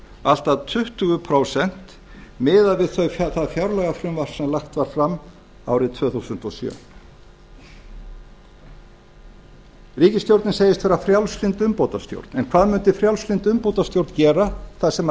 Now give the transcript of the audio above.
allt að tuttugu prósent miðað við það fjárlagafrumvarp sem lagt var fram árið tvö þúsund og sjö ríkisstjórnin segist vera frjálslynd umbótastjórn en hvað mundi frjálslynd umbótastjórn gera þar sem þessi